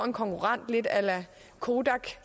en konkurrent lidt a la kodak